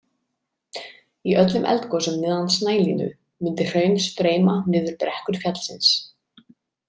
Í öllum eldgosum neðan snælínu mundi hraun streyma niður brekkur fjallsins.